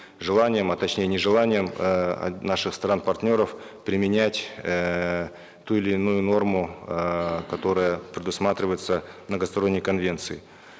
желанием а точнее нежеланием эээ наших стран партнеров применять эээ ту или иную норму эээ которая предусматривается многосторонней конвенцией